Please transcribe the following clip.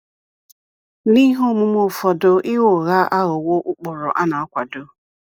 N’ihe omume ụfọdụ ịgha ụgha aghọwo ụkpụrụ a na - akwado.